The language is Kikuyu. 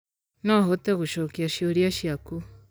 No hote gũcokia ciũria ciaku